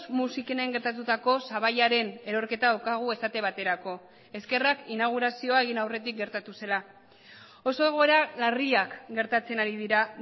musikenen gertatutako sabaiaren erorketa daukagu esate baterako eskerrak inaugurazioa egin aurretik gertatu zela oso egoera larriak gertatzen ari dira